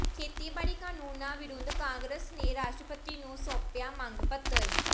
ਖੇਤੀਬਾੜੀ ਕਾਨੂੰਨਾਂ ਵਿਰੁਧ ਕਾਂਗਰਸ ਨੇ ਰਾਸ਼ਟਰਪਤੀ ਨੂੰ ਸੌਾਪਿਆ ਮੰਗ ਪੱਤਰ